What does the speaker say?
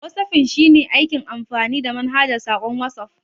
Whatsaffin shine aikin amfani da manhajar saƙon Watsuf.